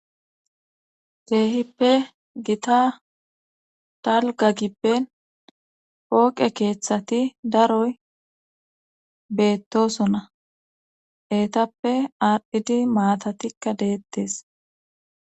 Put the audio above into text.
Teehippe gita talga gibben pooqe keeththati daroy beettosona eetappe aardhidi maatatikka deettes.